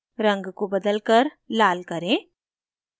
रंग को बदलकर लाल करें